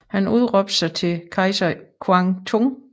Han udråbte sig da til kejser Quang Trung